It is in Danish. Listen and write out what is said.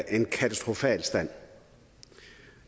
en katastrofal stand